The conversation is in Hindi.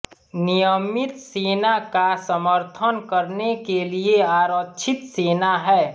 नियमित सेना का समर्थन करने के लिए आरक्षित सेना हैं